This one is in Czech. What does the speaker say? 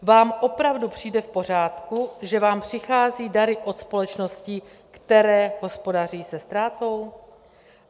Vám opravdu přijde v pořádku, že vám přicházejí dary od společností, které hospodaří se ztrátou?